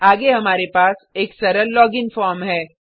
आगे हमारे पास एक सरल लॉगिन फॉर्म है